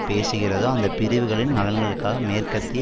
பேசுகிறதோ அந்த பிரிவுகளின் நலன்களுக்காக மேற்கத்திய